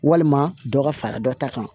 Walima dɔ ka fara dɔ ta kan